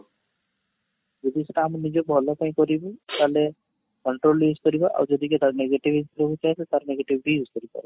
ଯଦି ସେଟା ଆମେ ନିଜ ଭଲ ପାଇଁ କରିବୁ ତାହେଲେ control use କରିବା ଆଉ ଯଦି ତା'ର negativity ରହୁ ଥାଏ ତ ତା'ର negative ବି use କରି ପାରିବା